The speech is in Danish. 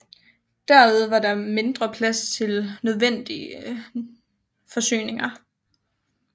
Derved var der mindre plads til nødvendige forsyninger